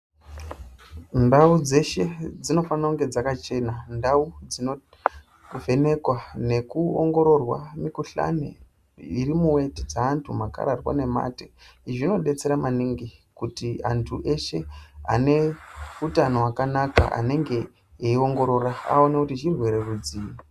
Ndau dzeshe dzinofana kunge dzakachena ndau kuvhenekwa nekuongororwa mikuhlani inoitidza vantu vanodaroko izvi zvinodetsera maningi kuti antu eshe ane hutano hwakanaka anenge eiongororwa aone kuti chirwere rudzii.